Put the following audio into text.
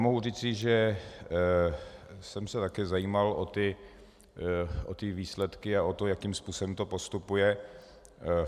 Mohu říci, že jsem se také zajímal o ty výsledky a o to, jakým způsobem to postupuje.